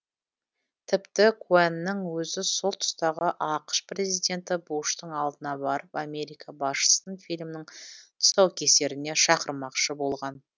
тіпті коэннің өзі сол тұстағы ақш президенті буштың алдына барып америка басшысын фильмнің тұсаукесеріне шақырмақшы болған